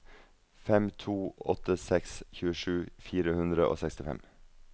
fem to åtte seks tjuesju fire hundre og sekstifem